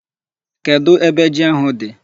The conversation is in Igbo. Kedụ ebe ji ahụ dị?